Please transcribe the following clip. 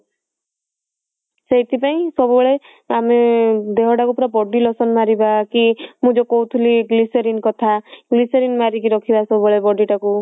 ସେଇଥି ପାଇଁ ସବୁବେଳେ ଆମେ ଦେହ ଟାକୁ ପୁରା body lotion ମାରିବା କି ମୁଁ ଯଉ କହୁଥିଲି କି ମୁଁ ଯଉ କହୁଥିଲି glycerine କଥା glycerine ମାରିକି ରଖିବା ସବୁବେଳେ body ଟାକୁ